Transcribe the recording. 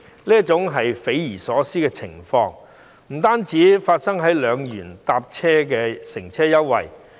主席，這匪夷所思的情況，不單發生在2元乘車優惠計劃。